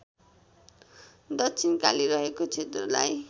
दक्षिणकाली रहेको क्षेत्रलाई